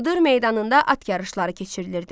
Cıdır meydanında at yarışları keçirilirdi.